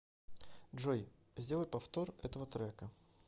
джой сделай повтор этого трека